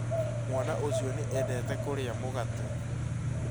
Mwana ũcio nĩ endete kũrĩa mũgate